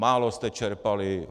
Málo jste čerpali!